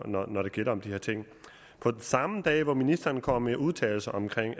når når det gælder de her ting for den samme dag som ministeren kom med udtalelserne om